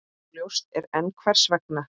Óljóst er enn hvers vegna.